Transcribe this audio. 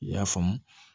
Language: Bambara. I y'a faamu